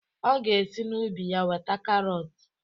Ọ ga esi n'ubi ya weta karọt